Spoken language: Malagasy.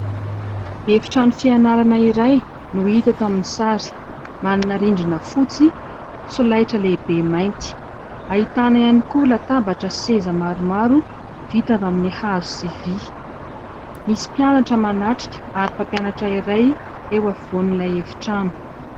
Efitrano fianarana iray no hita eto amin'ny sary, manana rindrina fotsy, solaitra lehibe mainty, ahitana ihany koa latabatra sy seza maromaro vita avy amin'ny hazo sy vy, misy mpianatra manatrika ary mpampianatra iray eo afovoan'ilay efitrano.